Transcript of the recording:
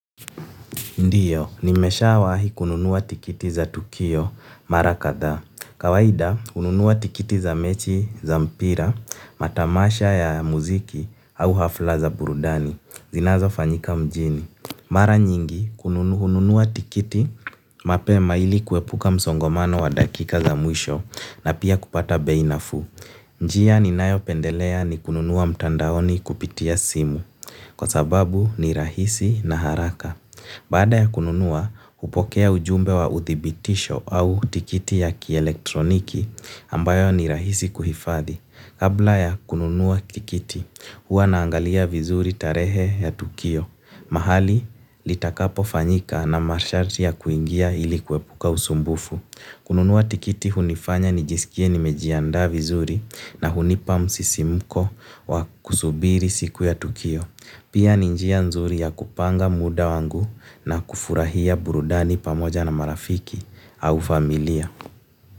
Ndiyo, nimeshawahi kununuwa tikiti za Tukio, Mara Kadha. Kawaida, hununuwa tikiti za mechi za mpira, matamasha ya muziki au hafla za burudani zinazo fanyika mjini. Mara nyingi, hununuwa tikiti mapema ili kuepuka msongamano wa dakika za mwisho na pia kupata bei nafuu. Njia ninayo pendelea ni kununua mtandaoni kupitia simu, kwa sababu ni rahisi na haraka. Baada ya kununua, hupokea ujumbe wa uthibitisho au tikiti ya kielektroniki ambayo ni rahisi kuhifadhi. Kabla ya kununua tikiti, huwa naangalia vizuri tarehe ya tukio. Mahali, litakapo fanyika na masharti ya kuingia ili kuepuka usumbufu. Kununua tikiti hunifanya ni jisikie nimejianda vizuri na hunipa msisimuko wa kusubiri siku ya tukio. Pia ni njia nzuri ya kupanga muda wangu na kufurahia burudani pamoja na marafiki au familia.